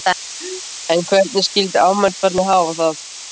En hvernig skildi afmælisbarnið hafa það?